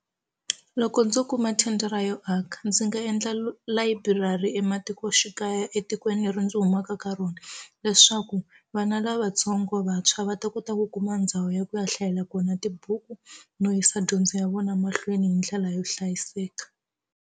Loko ndzo kuma thendara yo aka ndzi nga endla layiburari ematikoxikaya etikweni leri ndzi humaka ka rona leswaku vana lavatsongo vantshwa va ta kota ku kuma ndhawu ya ku ya hlayela kona tibuku no yisa dyondzo ya vona mahlweni hi ndlela yo hlayiseka.